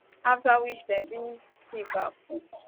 afta which dem bin tiff her phone